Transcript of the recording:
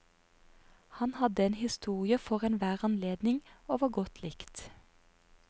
Han hadde en historie for enhver anledning, og var godt likt.